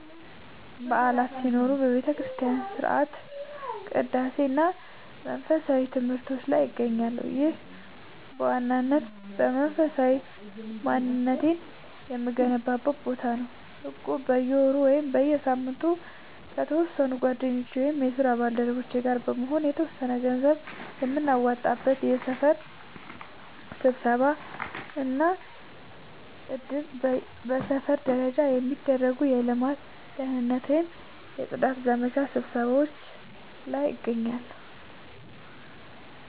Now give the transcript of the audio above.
በዓላት ሲኖሩ በቤተክርስቲያን ሥርዓተ ቅዳሴ እና መንፈሳዊ ትምህርቶች ላይ እገኛለሁ። ይህ በዋናነት መንፈሳዊ ማንነቴን የምገነባበት ቦታ ነው። እቁብ፦ በየወሩ ወይም በየሳምንቱ ከተወሰኑ ጓደኞቼ ወይም የስራ ባልደረቦቼ ጋር በመሆን የተወሰነ ገንዘብ የምናዋጣበት። የሰፈር ስብሰባዎች እና እድር፦ በሰፈር ደረጃ የሚደረጉ የልማት፣ የደህንነት ወይም የጽዳት ዘመቻ ስብሰባዎች ላይ እገኛለሁ።